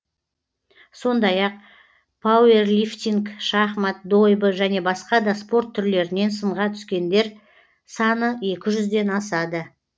сондай ақ пауэрлифтинг шахмат дойбы және басқа да спорт түрлерінен сынға түскендер саны екі жүзден асады